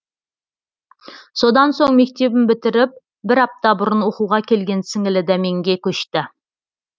содан соң мектебін бітіріп бір апта бұрын оқуға келген сіңілі дәменге көшті